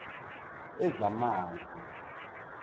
wezamanzi